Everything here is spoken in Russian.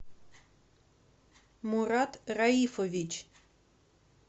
мурат раифович